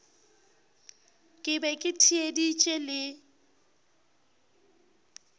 ke be ke theeditše le